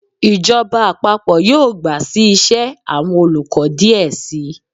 Ijọba àpapọ yọọ gba sí ìse, awọn olukọ diẹ sii